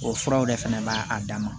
O furaw de fana b'a dama